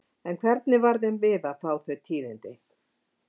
En hvernig varð þeim við að fá þau tíðindi?